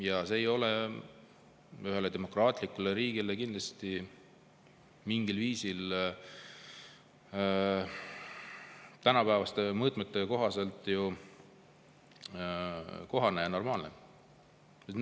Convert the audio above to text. Ja see ei ole ühele demokraatlikule riigile tänapäevaste kohaselt kindlasti mitte kohane ja normaalne.